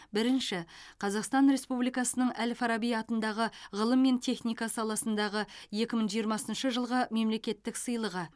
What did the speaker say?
бірінші қазақстан республикасының әл фараби атындағы ғылым мен техника саласындағы екі мың жиырмасыншы жылғы мемлекеттік сыйлығы